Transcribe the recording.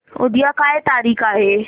उद्या काय तारीख आहे